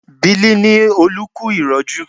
Biliki ni Olú kú ìrọ́jú